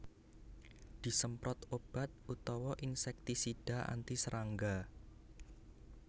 Disemprot obat utawa insèktisida anti serangga